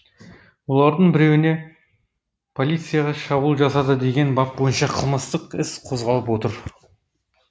олардың біреуіне полицияға шабуыл жасады деген бап бойынша қылмыстық іс қозғалып отыр